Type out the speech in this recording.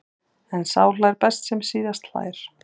En sá hlær best sem síðast hlær.